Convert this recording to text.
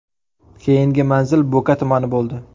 Keyingi manzil Bo‘ka tumani bo‘ldi.